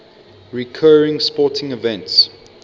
recurring sporting events